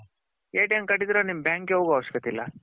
card ಇದ್ರೆ ನೀನು bank ಗೆ ಹೋಗೋ ಅವಶ್ಯಕತ್ತೆ ಇಲ್ಲ.